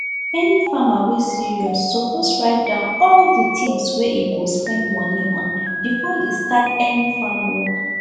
any farmer wey serious suppose write down all the things wey e go spend money on before e start any farm work